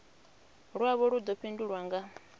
lwavho lu ḓo fhindulwa nga